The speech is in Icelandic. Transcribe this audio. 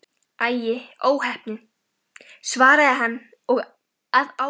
Æi, óheppin svaraði hann að bragði.